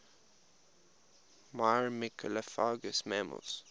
myrmecophagous mammals